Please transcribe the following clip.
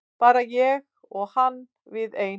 Bara ég og hann við ein.